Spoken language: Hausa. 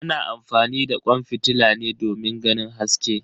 Ana amfani da kwan fitila ne domin ganin haske.